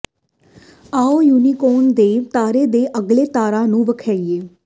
ਆਉ ਯੁਨੀਕੋਰਨ ਦੇ ਤਾਰੇ ਦੇ ਅਗਲੇ ਤਾਰਾ ਨੂੰ ਵੇਖੀਏ